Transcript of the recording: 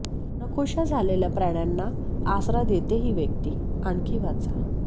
नकोशा झालेल्या प्राण्यांना आसरा देते ही व्यक्ती आणखी वाचा